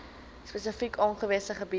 spesifiek aangewese gebiede